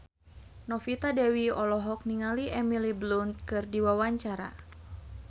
Novita Dewi olohok ningali Emily Blunt keur diwawancara